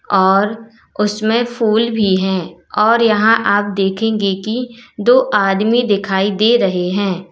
और उसमें फूल भी हैं और यहां आप देखेंगे कि दो आदमी दिखाई दे रहे हैं।